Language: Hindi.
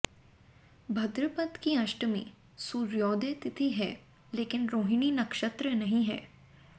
भद्रपद की अष्टमी सूर्योदय तिथि है लेकिन रोहिणी नक्षत्र नहीं है